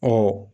Ɔ